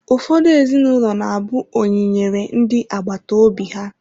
Ụfọdụ ezinụlọ na-abụ oyi nyere ndị agbata obi ha.